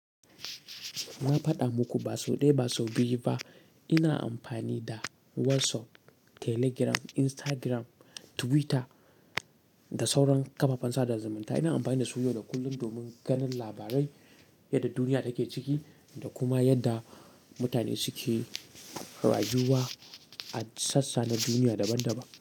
Na faɗa muku ba sau ɗaya ba sau biyu ba ina amfani da WhatsApp, Telegram, Instagram, Twitter da sauran kafafen sada zumunta. Ina amfani da su yau da kullum domin ganin labarai, yadda duniya take ciki, da kuma yadda mutane suke rayuwa, a sassa na duniya daban-daban.